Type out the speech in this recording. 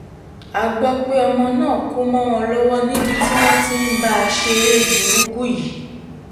a gbọ́ pé ọmọ náà kú mọ́ wọn lọ́wọ́ níbi tí wọ́n ti ń bá a ṣeré burúkú yìí